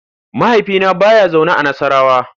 Mahaifina ba ya zaune a Nassarawa.